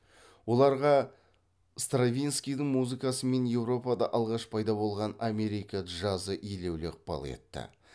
оларға стравинскийдің музыкасы мен еуропада алғаш пайда болған америка джазы елеулі ықпал етті